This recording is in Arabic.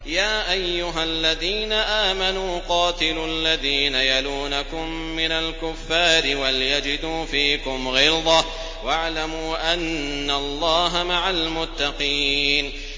يَا أَيُّهَا الَّذِينَ آمَنُوا قَاتِلُوا الَّذِينَ يَلُونَكُم مِّنَ الْكُفَّارِ وَلْيَجِدُوا فِيكُمْ غِلْظَةً ۚ وَاعْلَمُوا أَنَّ اللَّهَ مَعَ الْمُتَّقِينَ